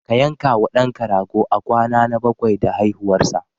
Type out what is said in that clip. Ka yanka wa ɗanka rago a kwana na bakwai da haihuwarsa.